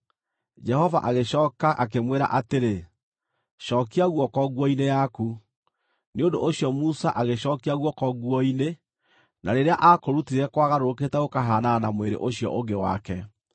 Jehova agĩcooka akĩmwĩra atĩrĩ, “Cookia guoko nguo-inĩ yaku.” Nĩ ũndũ ũcio Musa agĩcookia guoko nguo-inĩ, na rĩrĩa aakũrutire kwagarũrũkĩte gũkahaanana na mwĩrĩ ũcio ũngĩ wake.